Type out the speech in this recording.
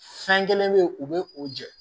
Fɛn kelen bɛ ye u bɛ o jɛ